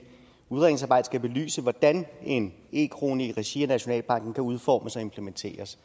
udredningsarbejdet skal belyse hvordan en e krone i regi af nationalbanken kan udformes og implementeres